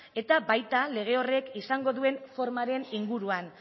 eta baita lege horrek izango duen formaren inguruan